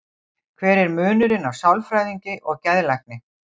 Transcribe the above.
Hver er munurinn á sálfræðingi og geðlækni?